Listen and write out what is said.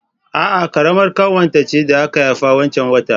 A'a, ƙaramar ƙanwata ce da aka haifa wancan watan